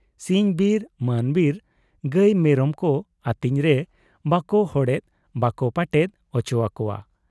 ᱥᱤᱧ ᱵᱤᱨ ᱢᱟᱱ ᱵᱤᱨ ᱜᱟᱹᱭ ᱢᱮᱨᱚᱢ ᱠᱚ ᱟᱹᱛᱤᱧ ᱨᱮ ᱵᱟᱠᱚ ᱦᱚᱲᱮᱫ ᱵᱟᱠᱚ ᱯᱟᱴᱮᱫ ᱚᱪᱚ ᱟᱠᱚᱣᱟ ᱾